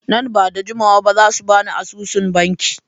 Nan ba da jimawa ba za su ba ni asusun banki.